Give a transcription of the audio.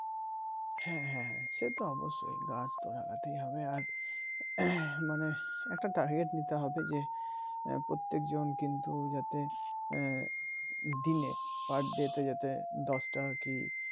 হ্যাঁ হ্যাঁ হ্যাঁ সে তো অবশ্যই গাছ তো লাগাতেই হবে আর মানে একটা target নিতে হবে যে প্রত্যেক জন কিন্তু যাতে দিনে পার day তে যাতে দশটা কি